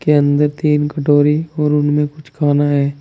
अंदर तीन कटोरी और उनमें कुछ खाना है।